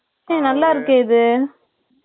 ஆ, நல்லா இருக்கே, இது